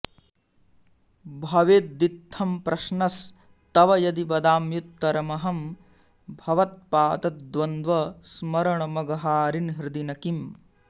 भवेदित्थं प्रश्नस्तव यदि वदाम्युत्तरमहं भवत्पादद्वन्द्वस्मरणमघहारिन् हृदि न किम्